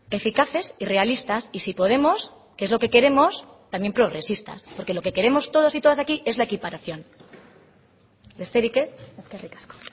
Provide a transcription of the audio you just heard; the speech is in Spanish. eficaces y realistas y si podemos que es lo que queremos también progresistas porque lo que queremos todos y todas aquí es la equiparación besterik ez eskerrik asko